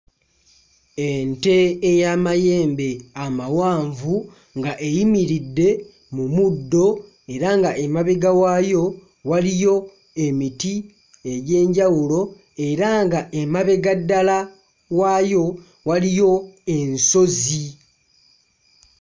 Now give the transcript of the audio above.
Ente ey'amayembe amawanvu nga eyimiridde mu muddo era nga emabega waayo waliyo emiti egy'enjawulo era nga emabega ddala waayo waliyo ensozi.